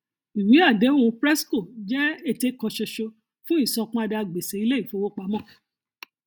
ìwé àdéhùn prescos jẹ ète kan ṣoṣo fún ìsanpadà gbèsè ilé ìfowópamọ